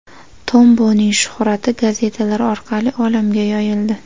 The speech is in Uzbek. Tomboning shuhrati gazetalar orqali olamga yoyildi.